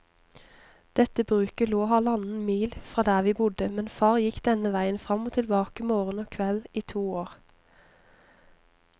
Dette bruket lå halvannen mil fra der vi bodde, men far gikk denne veien fram og tilbake morgen og kveld i to år.